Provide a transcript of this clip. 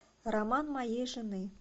роман моей жены